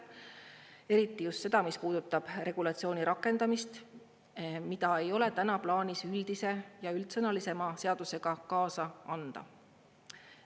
Eriti just seda, mis puudutab regulatsiooni rakendamist, mida ei ole täna plaanis üldise ja üldsõnalisema seadusega kaasa anda.